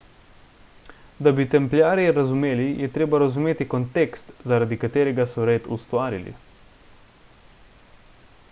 da bi templjarje razumeli je treba razumeti kontekst zaradi katerega so red ustvarili